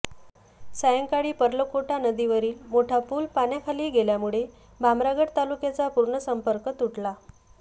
सायंकाळी पर्लकोटा नदीवरील मोठा पुल पाण्याखाली गेल्यामुळे भामरागड तालुक्याचा पूर्ण संपर्क तुटला